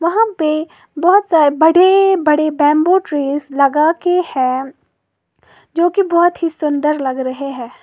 वहां पे बहुत सारे बड़े बड़े बंबू ट्री लगाके है जो की बहुत ही सुंदर लग रहे हैं।